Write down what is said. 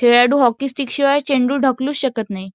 खेळाडू hockey stick शिवाय चेंडू ढकलूच शकत नाही.